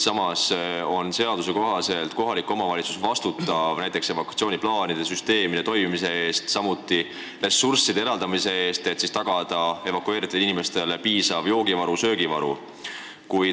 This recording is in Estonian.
Samas, seaduse kohaselt vastutavad kohalikud omavalitsused näiteks evakuatsiooniplaanide ja -süsteemide eest, samuti ressursside eraldamise eest, et tagada evakueeritud inimestele piisav joogi- ja söögivaru.